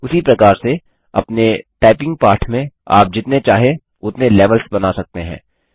उसी प्रकार से अपने टाइपिंग पाठ में आप जितने चाहे उतने लेवल्स बना सकते हैं